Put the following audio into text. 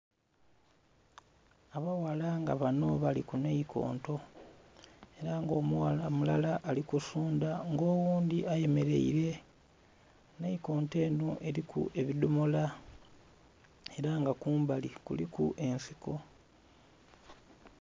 Abaghala nga banho bali ku naikonto ela nga omughala mulala ali kusundha nga oghundhi ayemeleile. Naikonto enho eliku ebidhomola, ela nga kumbali kuliku ensiko.